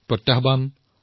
প্ৰত্যাহ্বান আহিছে